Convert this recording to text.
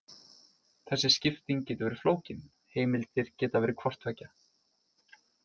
Þessi skipting getur verið flókin: heimildir geta verið hvort tveggja.